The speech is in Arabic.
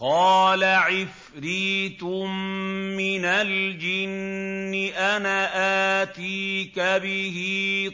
قَالَ عِفْرِيتٌ مِّنَ الْجِنِّ أَنَا آتِيكَ بِهِ